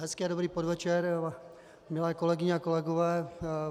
Hezký a dobrý podvečer, milé kolegyně a kolegové.